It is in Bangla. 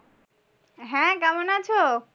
হ্যাঁ কেমন আছো?